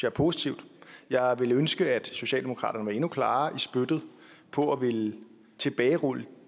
er positivt jeg ville ønske at socialdemokraterne var endnu klarere i spyttet på at ville tilbagerulle